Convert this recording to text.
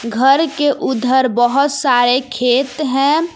घर के उधर बहोत सारे खेत हैं।